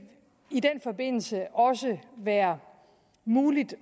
i den forbindelse også være muligt